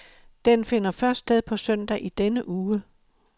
Den finder først sted på søndag i denne uge.